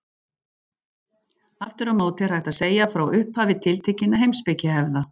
Aftur á móti er hægt að segja frá upphafi tiltekinna heimspekihefða.